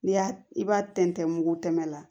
N'i y'a i b'a tɛntɛn mugu tɛmɛ la